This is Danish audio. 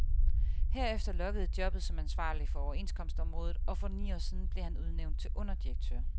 Herefter lokkede jobbet som ansvarlig for overenskomstområdet, og for ni år siden blev han udnævnt til underdirektør.